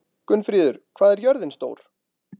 Gunnfríður, hvað er jörðin stór?